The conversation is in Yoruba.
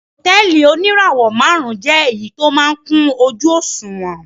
Hòtẹ́ẹ́lì oníràwọ̀-márùn-ún jẹ́ èyí tó máa ń kún ojú-òṣùwọ̀n.